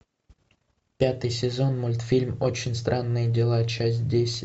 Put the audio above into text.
пятый сезон мультфильм очень странные дела часть десять